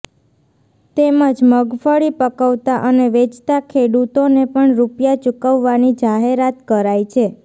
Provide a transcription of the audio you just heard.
તેમજ મગફળી પકવતા અને વેચતા ખેડૂતોને પણ રૂપિયા ચૂકવવાની જાહેરાત કરાઈ છે